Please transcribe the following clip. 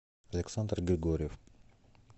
александр григорьев